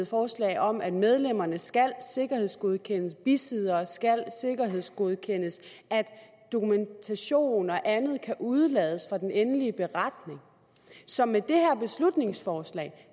forslag om at medlemmerne skal sikkerhedsgodkendes bisiddere skal sikkerhedsgodkendes dokumentation og andet kan udelades fra den endelige beretning så med det her beslutningsforslag